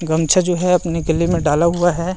गमछा जो है अपने गले में डाला हुआ है ।